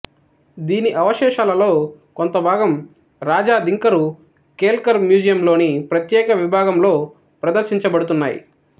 దీని అవశేషాలలో కొంతభాగం రాజా దింకరు కేల్కరు మ్యూజియంలోని ప్రత్యేక విభాగంలో ప్రదర్శించబడుతున్నాయి